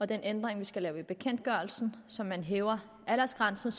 den ændring vi skal lave i bekendtgørelsen så man hæver aldersgrænsen